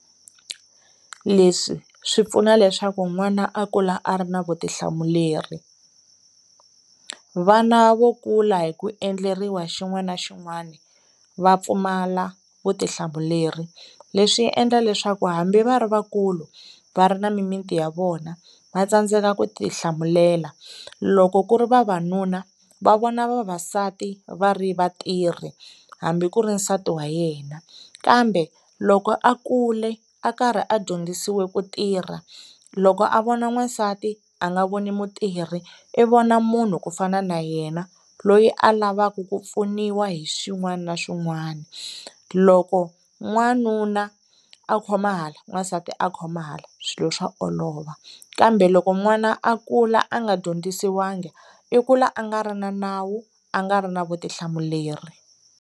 Leswi swi pfuna leswaku n'wana a kula a ri na vutihlamuleri vana vo kula hi ku endleriwa xin'wana na xin'wana va pfumala vutihlamuleri leswi endla leswaku hambi va ri vakulu va ri na mimiti ya vona va tsandzeka ku ti hlamulela loko ku ri vavanuna va vona vavasati va ri vatirhi hambi ku ri nsati wa yena kambe loko a kule a karhi a dyondzisiwa ku tirha loko a vona n'wansati a nga voni mutirhi i vona munhu ku fana na yena loyi a lavaku ku pfuniwa hi swin'wana na swin'wana loko n'wanuna a khoma hala n'wansati a khoma hala swilo swa olova kambe loko n'wana a kula a nga dyondzisiwangi i kula a nga ri na nawu a nga ri na vutihlamuleri.